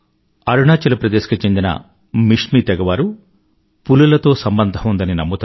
అరుణాచల్ ప్రదేశ్ కు చెందిన మిష్మీ తెగ వారు పులులతో సంబంధం ఉందని నమ్ముతారు